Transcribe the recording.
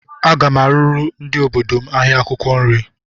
Aga m arụrụ ndị obodo m ahịa akwụkwọ nri